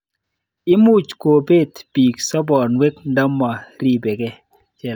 Imuch kopet piik soponwek ndama ripkei.